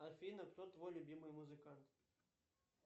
афина кто твой любимый музыкант